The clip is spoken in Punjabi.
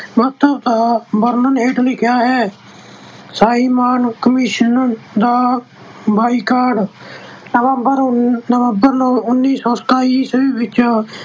ਮਹੱਤਵ ਦਾ ਵਰਣਨ ਹੇਠ ਲਿਖਿਆ ਹੈ- simon commission ਦਾ ਬਾਈਕਾਟ- ਨਵੰਬਰਨਵੰਬਰ, ਉਨੀਂ ਸੌ ਸਤਾਈ ਈਸਵੀ ਵਿੱਚ ਅਹ